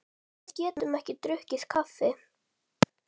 Nei, við getum drukkið kaffi.